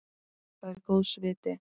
Það er góðs viti.